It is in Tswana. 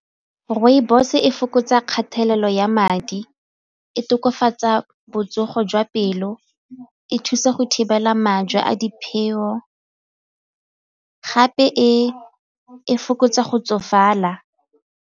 Rooibos e fokotsa kgatelelo ya madi, e tokafatsa botsogo jwa pelo, e thusa go thibela majwe a gape e fokotsa go tsofala.